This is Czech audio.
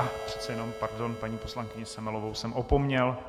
Ach, přece jenom, pardon, paní poslankyni Semelovou jsem opomněl.